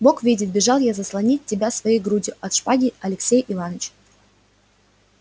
бог видит бежал я заслонить тебя своею грудью от шпаги алексея иваныча